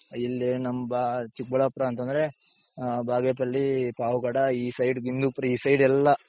ಇಲ್ಲಿ ನಮ್ಮ ಚಿಕ್ಬಳ್ಳಾಪುರ ಅಂತ ಅಂದ್ರೆ ಬಾಗೇಪಲ್ಲಿ ,ಪಾವಗಡ ,ಈ side ಬಿಂದುಪುರಿ ಈ sideಎಲ್ಲಾ